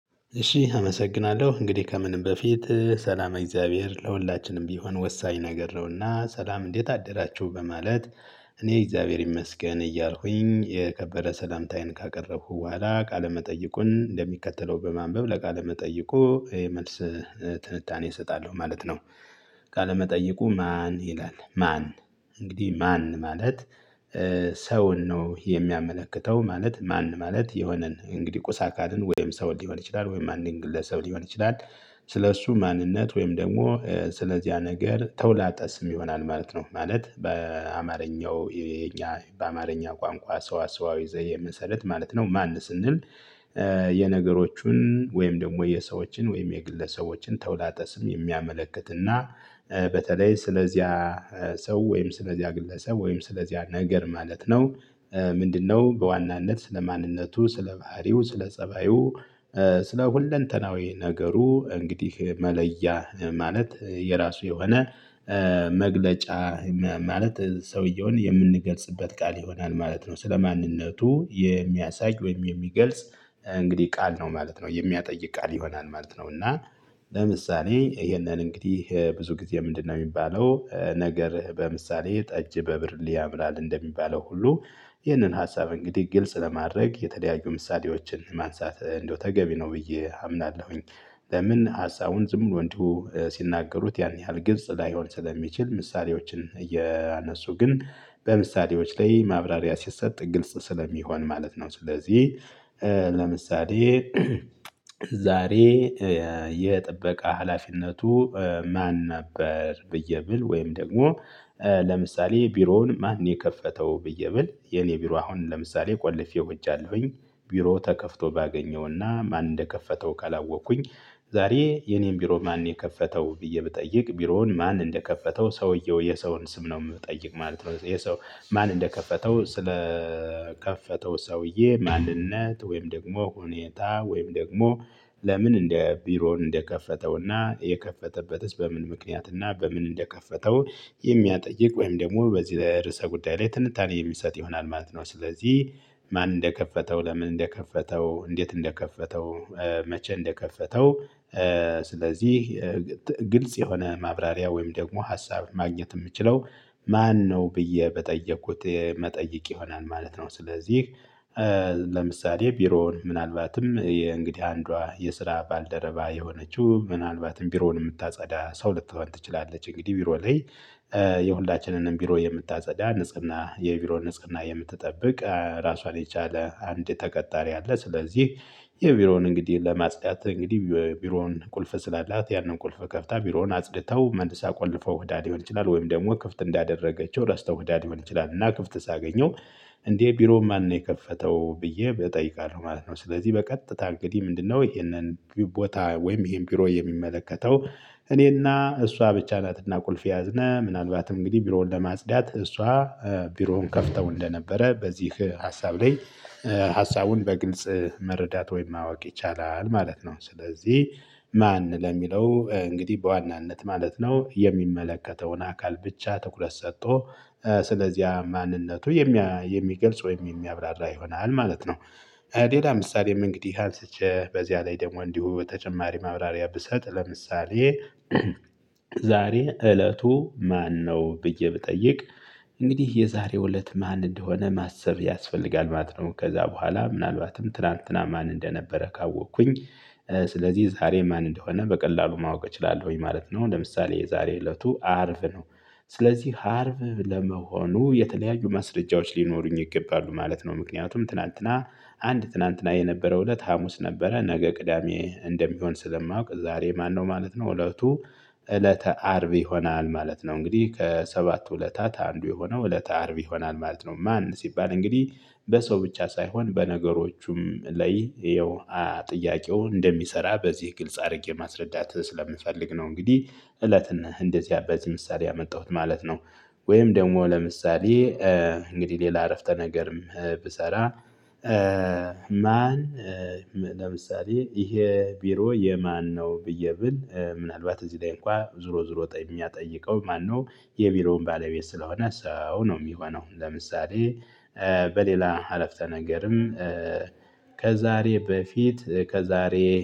እሺ አመሰግናለሁ እንግዲህ ከምንም በፊት ሰላመ እግዚአብሔር ለሁላችንም ቢሆን ወሳኝ ነገር ነውና ሰላም እንዴት አደራችሁ በማለት እኔ እግዚአብሔር ይመስገን እያልኩኝ የከበረ ሰላምታዬን ካቀረብኩ በኋላ ቃለ መጠይቁን እንደሚከተለው በማንበብ ለቃለ መጠይቁ ይሄ መልስ ትንታኔ እሰጣለሁ ማለት ነው። ቃለመጠየቁ ማን ይላል ማን? እንግዲህ ማን ማለት ሰውን ነው የሚያመለክተው ማለት ማን ማለት የሆነን እንግዲህ ቁስ አካልን ወይም ሰው ሊሆን ይችላል ወይም አንድን ግለሰብ ሊሆን ይችላል። ስለእሱ ማንነት ወይም ደግሞ ስለዚያ ነገር ተውላጠስም ይሆናል ማለት ነው ማለት በአማርኛው የኛ በአማርኛ ቋንቋ ሰዋሰዋዊ ዘዬ መሰረት ማለት ነው ማን ስንል? የነገሮቹን ወይም ደግሞ የሰዎችን ወይም የግለሰቦችን ተውላጠ ስም የሚያመለክትና በተለይ ስለዚያ ሰው ወይም ስለዚያ ግለሰብ ወይም ስለዚያ ነገር ማለት ነው። ምንድነው በዋናነት ስለ ማንነቱ ስለ ባህሪው ስለ ፀባዩ። ስለ ሁለንተናዊ ነገሩ እንግዲህ መለያ ማለት የራሱ የሆነ መግለጫ። ማለት ሰውየውን የምንገልጽበት ቃል ይሆናል ማለት ነው ስለማንነቱ የሚያሳይ ወይም የሚገልጽ እንግዲህ ቃል ነው ማለት ነው የሚያጠይቅ ቃል ይሆናል ማለት ነው። እና ለምሳሌ ይሄንን እንግዲህ ብዙ ጊዜ ምንድነው የሚባለው ነገር በምሳሌ ጠጅ በብርሌ ያምራል እንደሚባለው ሁሉ ይህንን ሀሳብ እንግዲህ ግልጽ ለማድረግ የተለያዩ ምሳሌዎችን ማንሳት እንደው ተገቢ ነው ብዬ አምናለሁኝ። ለምን ሀሳቡን ዝም ብሎ እንዲሁ ሲናገሩት ያን ያህል ግልጽ ላይሆን ስለሚችል ምሳሌዎችን እያነሱ ግን በምሳሌዎች ላይ ማብራሪያ ሲሰጥ ግልጽ ስለሚሆን ማለት ነው። ስለዚህ ለምሳሌ ዛሬ የጥበቃ ሀላፊነቱ ማን ነበር ብዬ ብል ወይም ደግሞ ለምሳሌ ቢሮውን ማን ነው የከፈተው ብዬ ብል የኔ ቢሮ አሁን ለምሳሌ ቆልፌው ሂጃለሁኝ ቢሮ ተከፍቶ ባገኘውና ማን እንደከፈተው ካላወቅኩኝ ዛሬ የኔን ቢሮ ማን ነው የከፈተው ብዬ ብጠይቅ ቢሮውን ማን እንደከፈተው ሰውየው የሰውን ስም ነው የምጠይቅ ማለት ነው የሰው ማን እንደከፈተው ስለከፈተው ሰውዬ ማንነት ወይም ደግሞ ሁኔታ ወይም ደግሞ ለምን እንደ ቢሮውን እንደከፈተውና የከፈተበትስ በምን ምክንያት እና በምን እንደከፈተው? የሚያጠይቅ ወይም ደግሞ በዚህ ለርዕሰ ጉዳይ ላይ ትንታኔ የምሰጥ ይሆናል ማለት ነው። ስለዚህ ማን እንደከፈተው ለምን እንደከፈተው እንዴት እንደከፈተው መቼ እንደከፈተው? ስለዚህ ግልጽ የሆነ ማብራሪያ ወይም ደግሞ ሀሳብን ማግኘት የምችለው ማነው ብዬ በጠየኩት መጠየቅ ይሆናል ማለት ነው። ስለዚህ ለምሳሌ ቢሮውን ምናልባትም እንግዲህ አንዷ የስራ ባልደረባ የሆነችው ምናልባትም ቢሮውን የምታጸዳ ሰው ልትሆን ትችላለች እንግዲህ ቢሮ ላይ የሁላችንንም ቢሮ የምታጸዳ ንጽህና የቢሮ ንጽህና የምትጠብቅ ራሷን የቻለ አንድ ተቀጣሪ አለ። ስለዚህ የቢሮውን እንግዲህ ለማጽዳት እንግዲህ ቢሮውን ቁልፍ ስላላት ያንን ቁልፍ ከፍታ ቢሮውን አጽድታው መንገድ ሳቆልፈው ህዳ ሊሆን ይችላል ወይም ደግሞ ክፍት እንዳደረገችው ረስታው ህዳ ሊሆን ይችላል እና ክፍት ሳገኘው። እንዴ ቢሮውን ማን ነው የከፈተው ብዬ እጠይቃለሁ ማለት ነው። ስለዚህ በቀጥታ እንግዲህ ምንድነው ይሄንን ቦታ ወይም ይሄን ቢሮ የሚመለከተው? እኔና እሷ ብቻ ናትና ቁልፍ የያዝነ ምናልባትም እንግዲህ ቢሮውን ለማጽዳት እሷ ቢሮውን ከፍተው እንደነበረ በዚህ ሀሳብ ላይ ሀሳቡን በግልጽ መረዳት ወይም ማወቅ ይቻላል ማለት ነው። ስለዚህ ማን ለሚለው እንግዲህ በዋናነት ማለት ነው የሚመለከተውን አካል ብቻ ትኩረት ሰጦ ስለዚያ ማንነቱ የሚገልጽ ወይም የሚያብራራ ይሆናል ማለት ነው። ሌላ ምሳሌም እንግዲህ አንስቸ በዚያ ላይ ደግሞ እንዲሁ በተጨማሪ ማብራሪያ ብሰጥ ለምሳሌ ዛሬ እለቱ ማነው ብዬ ብጠይቅ? እንግዲህ የዛሬው እለት ማን እንደሆነ ማሰብ ያስፈልጋል ማለት ነው። ከዛ በኋላ ምናልባትም ትላንትና ማን እንደነበረ ካወኩኝ። ስለዚህ ዛሬ ማን እንደሆነ በቀላሉ ማወቅ እችላለሁኝ ማለት ነው። ለምሳሌ የዛሬ እለቱ አርብ ነው። ስለዚህ አርብ ለመሆኑ የተለያዩ ማስረጃዎች ሊኖሩኝ ይገባሉ ማለት ነው። ምክንያቱም ትላንትና አንድ ትላንትና የነበረው እለት ሀሙስ ነበረ ነገ ቅዳሜ እንደሚሆን ስለማውቅ ዛሬ ማነው ማለት ነው እለቱ እለተ አርብ ይሆናል ማለት ነው። እንግዲህ ከሰባቱ እለታት አንዱ የሆነው እለተ አርብ ይሆናል ማለት ነው። ማን ሲባል እንግዲህ በሰው ብቻ ሳይሆን በነገሮቹም ላይ ይሄው ጥያቄው እንደሚሰራ በዚህ ግልጽ አርጌ ማስረዳት ስለምፈልግ ነው። እንግዲህ እለትን እንደዚያ በዚህ ምሳሌ ያመጣሁት ማለት ነው። ወይም ደግሞ ለምሳሌ እንግዲህ ሌላ አረፍተ ነገርም ብሰራ። ማን? ለምሳሌ ይሄ ቢሮ የማን ነው ብዬ ብል ምናልባት እዚህ ላይ እንኳን ዙሮ ዙሮ የሚያጠይቀው ማነው? የቢሮውን ባለቤት ስለሆነ ሰው ነው የሚሆነው። ለምሳሌ በሌላ አረፍተ ነገርም። ከዛሬ በፊት ከዛሬ